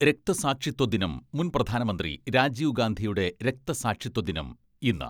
രക്തസാക്ഷിത്വദിനം മുൻ പ്രധാനമന്ത്രി രാജീവ് ഗാന്ധിയുടെ രക്തസാക്ഷിത്വ ദിനം ഇന്ന്.